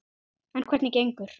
En hvernig gengur?